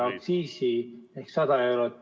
... aktsiisi ehk 100 eurot ......